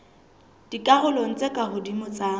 dikarolong tse ka hodimo tsa